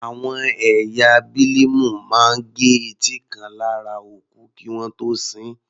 Àwọn ẹ̀yà Bílíìmù máa gẹ etí kan lára òkú kí wọ́n tó sin ín.